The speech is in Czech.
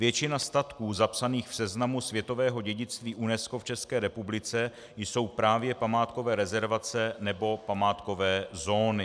Většina statků zapsaných v seznamu světového dědictví UNESCO v České republice jsou právě památkové rezervace nebo památkové zóny.